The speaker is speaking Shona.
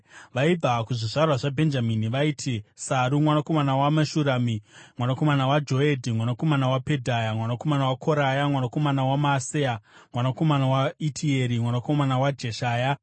Vaibva kuzvizvarwa zvaBhenjamini vaiti: Saru mwanakomana waMeshurami, mwanakomana waJoedhi, mwanakomana waPedhaya, mwanakomana waKoraya, mwanakomana waMaaseya, mwanakomana waItieri, mwanakomana waJeshaya,